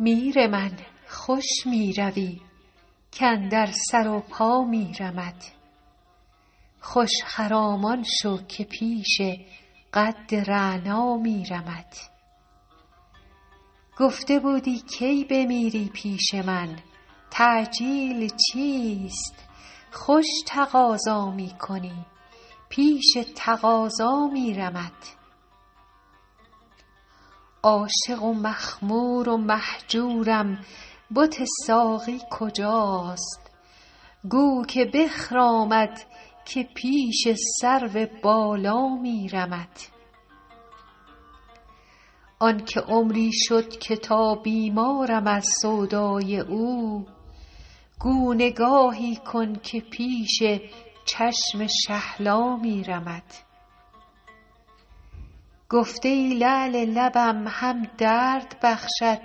میر من خوش می روی کاندر سر و پا میرمت خوش خرامان شو که پیش قد رعنا میرمت گفته بودی کی بمیری پیش من تعجیل چیست خوش تقاضا می کنی پیش تقاضا میرمت عاشق و مخمور و مهجورم بت ساقی کجاست گو که بخرامد که پیش سرو بالا میرمت آن که عمری شد که تا بیمارم از سودای او گو نگاهی کن که پیش چشم شهلا میرمت گفته ای لعل لبم هم درد بخشد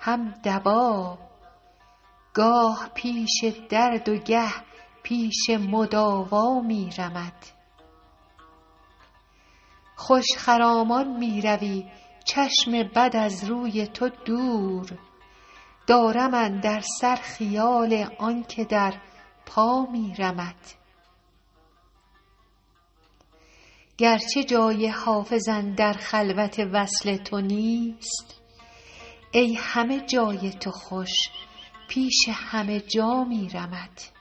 هم دوا گاه پیش درد و گه پیش مداوا میرمت خوش خرامان می روی چشم بد از روی تو دور دارم اندر سر خیال آن که در پا میرمت گرچه جای حافظ اندر خلوت وصل تو نیست ای همه جای تو خوش پیش همه جا میرمت